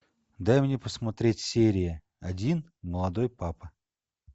дай мне посмотреть серия один молодой папа